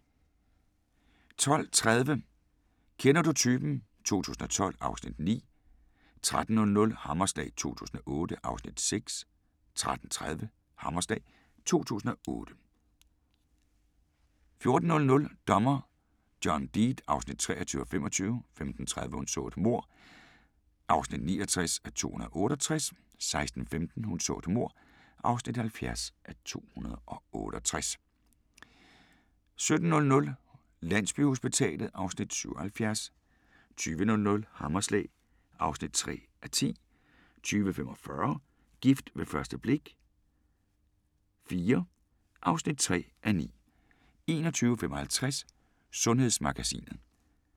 12:30: Kender du typen? 2012 (Afs. 9) 13:00: Hammerslag 2008 (Afs. 6) 13:30: Hammerslag 2008 14:00: Dommer John Deed (23:25) 15:30: Hun så et mord (69:268) 16:15: Hun så et mord (70:268) 17:00: Landsbyhospitalet (Afs. 77) 20:00: Hammerslag (3:10) 20:45: Gift ved første blik – IV (3:9) 21:55: Sundhedsmagasinet